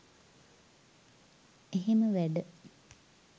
එහෙම වැඩ